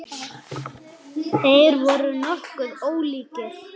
Ég veit það ekki lengur.